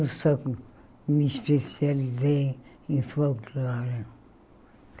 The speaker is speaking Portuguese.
Eu só me especializei em folclore.